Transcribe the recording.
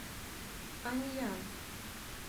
аньян